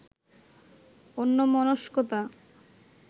অন্যমনস্কতা